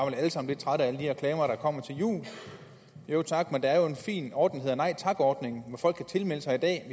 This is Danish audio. lidt trætte af alle de reklamer der kommer til jul jo tak men der er jo en fin ordning der hedder nej tak ordningen hvor folk kan tilmelde sig i dag